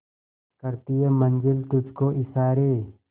करती है मंजिल तुझ को इशारे